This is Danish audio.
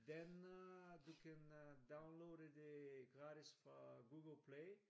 Den øh du kan øh downloade det gratis fra Google play